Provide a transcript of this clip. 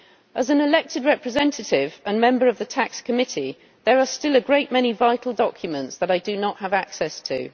As an elected representative and member of the TAXE Committee, there are still a great many vital documents that I do not have access to.